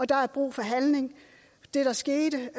der er brug for handling det der skete